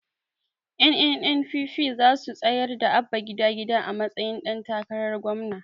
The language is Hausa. Ƴan NNPP zasu tsayar da Abba gida gida a matsayin ɗan takarar gwamna